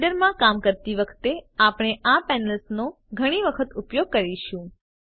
Blender માં કામ કરતી વખતે આપણે આ પેનલ્સ નો ઘણી વખત ઉપયોગ કરીશું